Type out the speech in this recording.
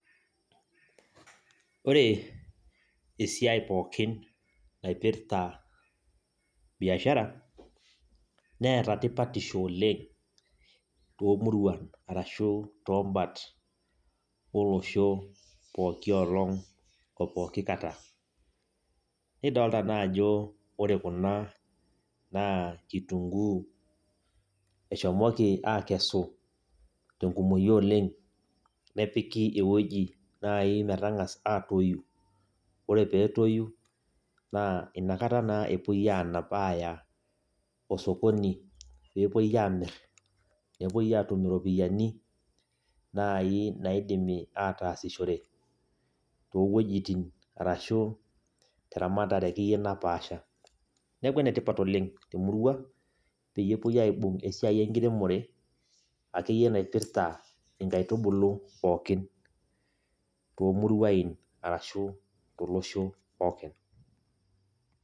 Wore esiai pookin naipirta biashara, neeta tipatisho oleng' toomuruan arashu toombat olosho pooki olong oo pooki kata. Nidoolta naa ajo wore kuna naa kitunguu, eshomoki aakesu, tenkumoyu oleng', nepiki ewoji naai metangas aatoii, wore pee etoii, naa inakata naa epoi aanap aaya osokoni pee epoi aamirr, nepoi aatumie iropiyani, naai naidimi aataasishore toowojitin arashu teramatare akeyie napaasha. Neeku enetipat oleng' temurua peyie epoi aibung esiai enkiremore akeyie naipirta inkaitubulu pookin toomuruain arashu tolosho pookin.